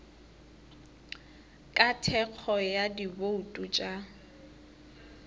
ka thekgo ya dibouto tša